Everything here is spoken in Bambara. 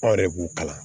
Anw yɛrɛ b'u kalan